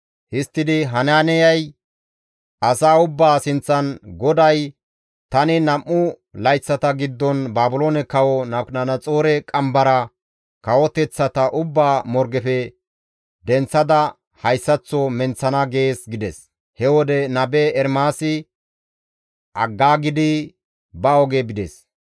Histtidi Hanaaniyay asaa ubbaa sinththan, «GODAY, ‹Tani nam7u layththata giddon Baabiloone kawo Nabukadanaxoore qambara kawoteththata ubbaa morgefe denththada hayssaththo menththana› gees» gides. He wode nabe Ermaasi aggaagidi ba oge bides.